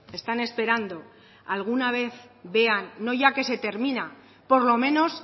están esperando alguna vez vean no ya que se termina por lo menos